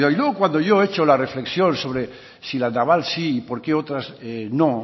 con cuidado y luego cuando yo he hecho la reflexión sobre si la naval sí y por qué otras no